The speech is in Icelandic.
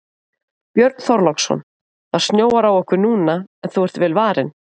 Björn Þorláksson: Það snjóar á okkur núna en þú ert vel varin?